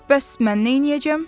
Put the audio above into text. "Bəs mən neyləyəcəm?"